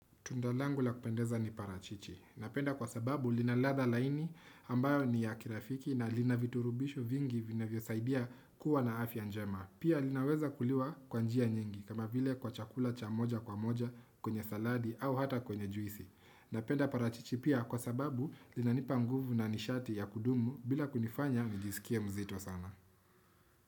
Tunda langu la kupendeza ni parachichi. Napenda kwa sababu lina ladha laini ambayo ni ya kirafiki na lina virutubishi vingi vinavyosaidia kuwa na afya njema. Pia linaweza kuliwa kwa njia nyingi kama vile kwa chakula cha moja kwa moja kwenye saladi au hata kwenye juisi. Napenda parachichi pia kwa sababu linanipa nguvu na nishati ya kudumu bila kunifanya nijisikie mzito sana.